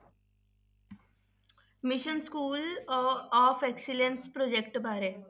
Mission school of excellence project ਬਾਰੇ